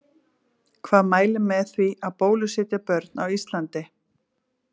Hvað mælir með því að bólusetja börn á Íslandi?